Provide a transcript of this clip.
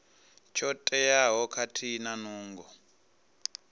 tsho teaho khathihi na nungo